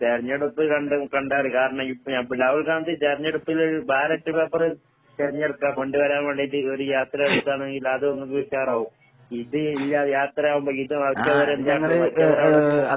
തെരഞ്ഞെടുപ്പ് കണ്ട് കണ്ടാല് കാരണയിപ്പ ഇപ്പ രാഹുൽ ഗാന്ധി തെരഞ്ഞെടുപ്പില് ബാലറ്റ് പപ്പേറ് തെരഞ്ഞെടുക്കാ കൊണ്ട് വരാൻ വേണ്ടീട്ട് ഒരു യാത്ര വെക്ക്കാണെങ്കിൽ അത് ഒന്നൂടി ഉഷാറാവും. ഇത് ഈ യാ യാത്രയാവുമ്പോ